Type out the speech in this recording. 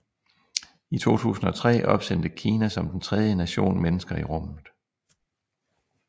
I 2003 opsendte Kina som den tredje nation mennesker i rummet